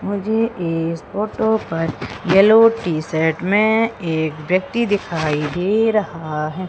मुझे इस फोटो पर येलो टी शर्ट में एक व्यक्ति दिखाई दे रहा है।